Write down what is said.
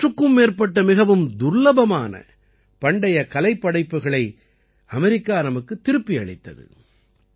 நூற்றுக்கும் மேற்பட்ட மிகவும் துர்லபமான பண்டைய கலைப்படைப்புக்களை அமெரிக்கா நமக்குத் திருப்பி அளித்தது